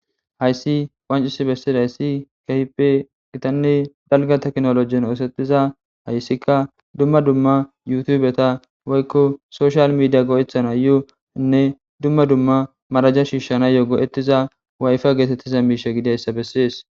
Hayssi wancis bessidayssi kahipe gitanni dalga teknolojen oosetiza hayssikka dumma dumma yutubeta woykko soshal midiya go'ethana yuoanne dumma dumma maraja shiishshana yoo go'ettiza wayfa geetettiza miishe gideyssa bessies.